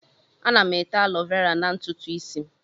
Ana m ete alọvera na ntutu ísí m.